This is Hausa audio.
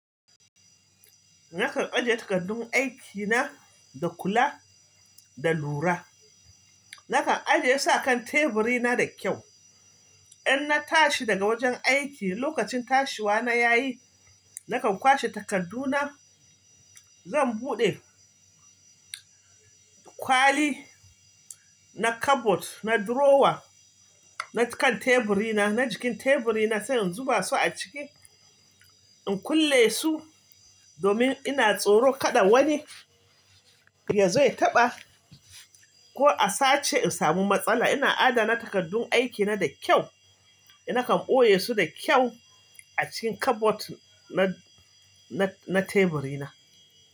Nakan ajiye takardun aiki na da kula da lura. Nakan ajiye su a kan teburi na da kyau. In na tashi daga wajen aiki, lokacin tashiwa na ya yi, nakan kwashe takardu na. Zan buɗe kwali na kabot na drawer na kan teburi na, na jikin teburi na sai in zuba su a ciki, in kulle su domin ina tsoro kaɗa wani ya zo ya taɓa ko a sace in samu matsala. Ina adana takardun aiki na da kyau. Nakan ɓoye su da kyau a cikin kabot na, na, na teburi na.